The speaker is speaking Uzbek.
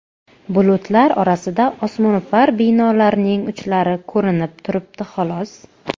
Bulutlar orasidan osmono‘par binolarning uchlari ko‘rinib turibdi, xolos.